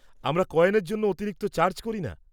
আমরা কয়েনের জন্য অতিরিক্ত চার্জ করি না।